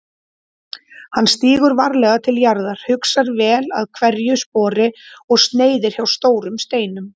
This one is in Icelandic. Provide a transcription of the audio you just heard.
Hann stígur varlega til jarðar, hugar vel að hverju spori og sneiðir hjá stórum steinum.